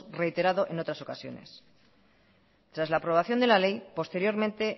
reiterado en otras ocasiones tras la aprobación de la ley posteriormente